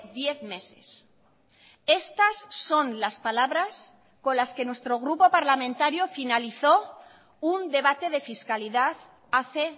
diez meses estas son las palabras con las que nuestro grupo parlamentario finalizó un debate de fiscalidad hace